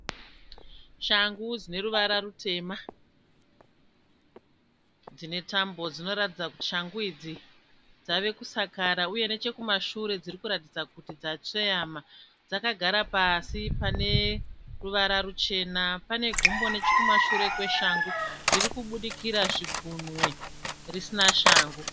Shangu dzineruvara rutema dziine tambo. Dzinoratidza kuti shangu idzi dzavakusakara uye nechekumashure dzirikuratidza kuti dzatsveyama. Dzakagara pasi paneruvara ruchena. Pane gumbo nechekumashure kweshangu ririkubudikira zvigunwe risina shangu.